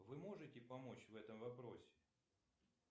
вы можете помочь в этом вопросе